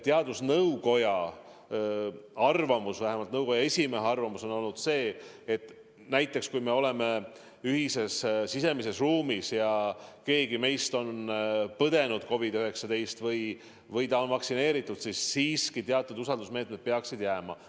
Teadusnõukoja arvamus, vähemalt nõukoja esimehe arvamus on olnud see, et kui me oleme koos siseruumis ja keegi meist on põdenud COVID-19 või ta on vaktsineeritud, siis siiski teatud usaldusmeetmed peaksid jääma.